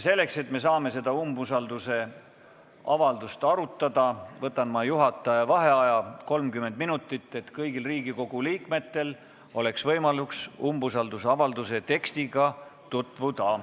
Selleks, et saaksime seda umbusaldusavaldust arutada, võtan ma juhataja vaheaja 30 minutit, et kõigil Riigikogu liikmetel oleks võimalus umbusaldusavalduse tekstiga tutvuda.